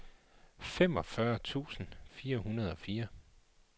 femogfyrre tusind fire hundrede og fire